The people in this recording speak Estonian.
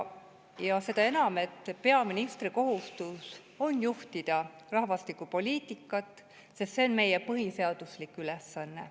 Seda enam, et peaministri kohustus on juhtida rahvastikupoliitikat, sest see on meie põhiseaduslik ülesanne.